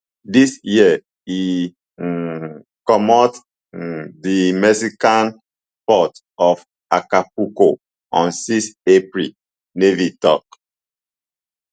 dis year e um comot um di mexican port of acapulco on six april navy tok